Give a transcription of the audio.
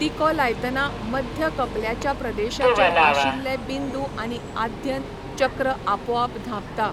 टिको लायतना मध्य कपल्याच्या प्रदेशाचेर आशिल्ले बिंदू आनी आध्यन चक्र आपोआप धांपता.